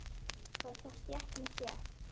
Var þá stétt með stétt?